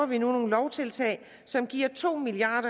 vi nu nogle lovtiltag som giver to milliard